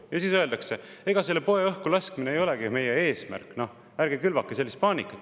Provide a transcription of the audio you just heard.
Ja siis öeldakse: ega selle poe õhkulaskmine ei ole meie eesmärk, ärge külvake sellist paanikat.